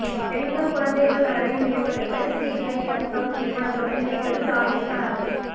பெண்கள் குழந்தைகள் நலனை மேம்படுத்த சிஐஎப்எப் நிறுவனத்துடன் இணைகிறது ராஜஸ்தான் அரசு